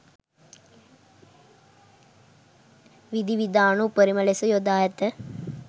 විධිවිධාන උපරිම ලෙස යොදා ඇත